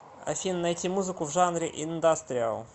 афина найти музыку в жанре индастриал